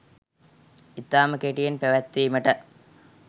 ඉතාම කෙටියෙන් පැවැත්වීමට